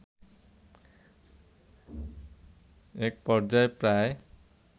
একপর্যায়ে প্রায়